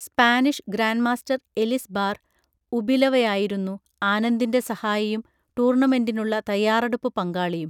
Spanish grand master Elizbar ഉബിലവയായിരുന്നു ആനന്ദിൻ്റെ സഹായിയും ടൂർണമെൻറ്റിനുള്ള തയ്യാറെടുപ്പു പങ്കാളിയും.